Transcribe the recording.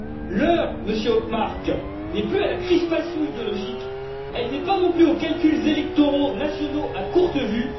L'heure, Monsieur Othmar, n'est plus à la crispation idéologique elle n'est pas non plus aux calculs électoraux nationaux à courte vue.